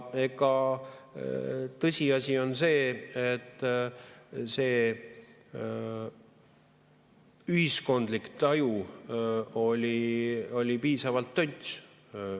Ja tõsiasi on see, et see ühiskondlik taju oli tönts.